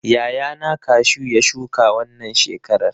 Yayana kashu ya shuka wannan shekarar.